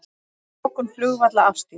Lokun flugvalla afstýrt